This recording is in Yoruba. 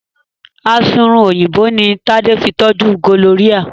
Asunrun Òyìnbó ní Tade fí toju gonorrhea.